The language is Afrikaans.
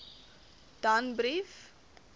danbrief